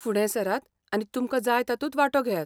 फुडें सरात आनी तुमकां जाय तातूंत वांटो घेयात.